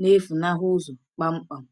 na-efunahụ ụzọ kpamkpam.